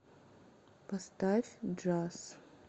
поставь джаз